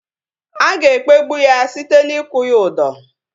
A ga-ekpegbụ ya site n'ikwu ya udọ